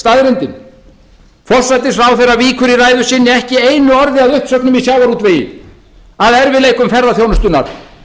staðreyndin forsætisráðherra víkur í ræðu sinni ekki einu orði að uppsöfnun í sjávarútvegi að erfiðleikum ferðaþjónustunnar